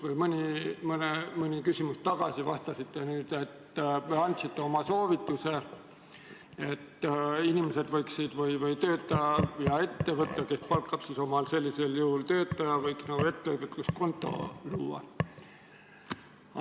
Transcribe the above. Mõni küsimus tagasi te andsite soovituse, et inimesed, kes sellisel moel töötavad, võiks ettevõtluskonto luua.